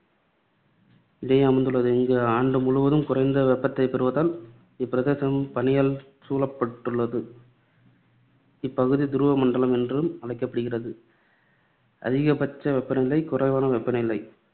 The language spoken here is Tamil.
இடையே அமைந்துள்ளது. இங்கு ஆண்டு முழுவதும் குறைந்த வெப்பத்தைப் பெறுவதால் இப்பிரதேசம் பனியால் சூழப்பட்டுள்ளது. இப்பகுதி துருவ மண்டலம் என்றும் அழைக்கப்படுகிறது. அதிகபட்ச வெப்ப நிலை, குறைவான வெப்ப நிலை